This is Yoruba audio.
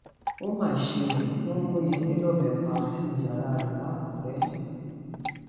ó mà ṣe ó wọn gún yẹmi lọbẹ pa sínú yàrá rẹ lákùrẹ